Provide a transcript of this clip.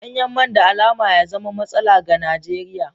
Danyen man da alama ya zama matsala ga Najeriya.